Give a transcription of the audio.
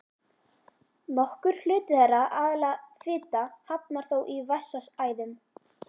Nokkur hluti þeirra, aðallega fita, hafnar þó í vessaæðum.